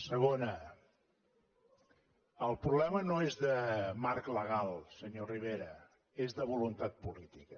segona el problema no és de marc legal senyor rivera és de voluntat política